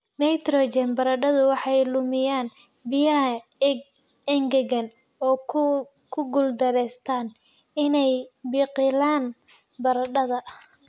nitrogen, baradhadu waxay lumiyaan biyaha, engegaan oo ku guuldareystaan ??inay biqilaan, baradhada